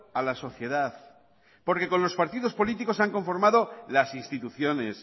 a la sociedad porque con los partidos políticos se han conformado las instituciones